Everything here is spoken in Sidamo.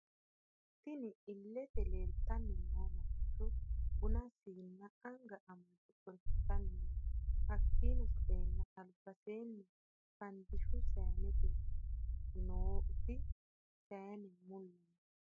Tinni illete leelitanni nooti mancho Buna siina anga amade xorishitani no hakiino sa'eena alibaseeni fandishu sayiinete nomitte sayiine mulla no.